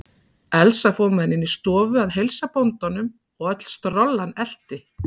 Elsa fór með hann inn í stofu að heilsa bóndanum og öll strollan elti.